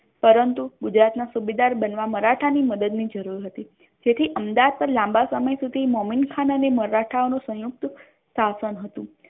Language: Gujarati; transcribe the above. પરંતુ ગુજરાત ના સુબેદાર બનવા મરાઠા ની મદદ ની જરૂર હતી જેથી અહેમદાબાદ પર લાંબા સમય સુધી મોમીનખાન અને મરાઠાઓ ની સયુંકત શાસન હતુ.